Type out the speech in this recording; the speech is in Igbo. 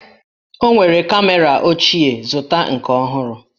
O nwere kamera ochie, zụta nke ọhụrụ!